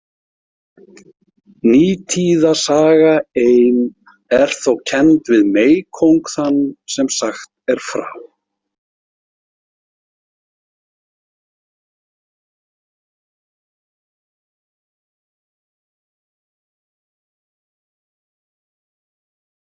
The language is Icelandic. Nítíða saga ein er þó kennd við meykóng þann sem sagt er frá.